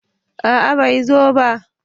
a'a bai zo ba